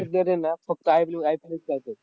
ना फक्त IP IPL च चालतं.